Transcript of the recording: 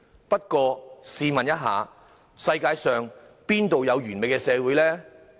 不過，試問一下，世界上哪有完美的社會？